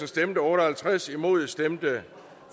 stemte otte og halvtreds imod stemte